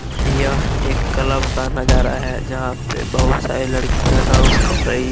यह एक क्लब का नजारा है जहां पे बहुत सारी लड़कियां डांस कर रही है।